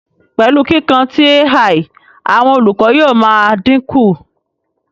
Pẹlu kiikan ti AI, awọn olukọ yóò maa dinku